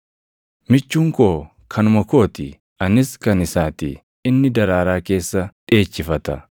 Michuun koo kanuma koo ti; anis kan isaa ti; inni daraaraa keessa dheechifata.